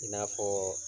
I n'a fɔ